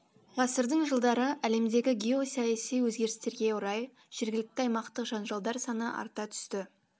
ғасырдың жылдары әлемдегі геосаяси өзгерістерге орай жергілікті аймақтық жанжалдар саны арта түсті